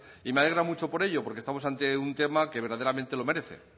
y me alegra mucho por ello porque estamos ante un tema que verdaderamente lo merece